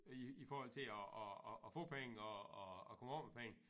I i forhold til at at at at få penge og og og komme af med penge